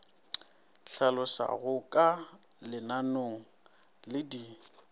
hlaloswago ka leanong le di